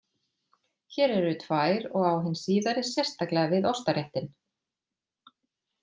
Hér eru tvær og á hin síðari sérstaklega við ostaréttinn.